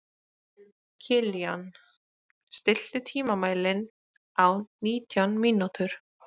Kilían, stilltu tímamælinn á nítján mínútur.